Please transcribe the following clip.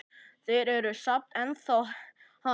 Þeir eru samt ennþá hann.